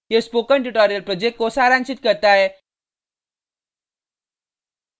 यह spoken tutorial project को सारांशित करता है